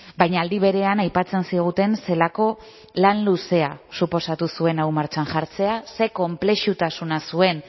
baina aldi berean aipatzen ziguten zelako lan luzea suposatu zuen hau martxan jartzea ze konplexutasuna zuen